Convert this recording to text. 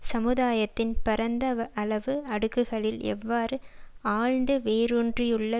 சமுதாயத்தின் பரந்த அளவு அடுக்குகளில் எவ்வாறு ஆழ்ந்து வேரூன்றியுள்ள